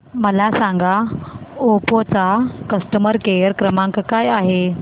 मला सांगा ओप्पो चा कस्टमर केअर क्रमांक काय आहे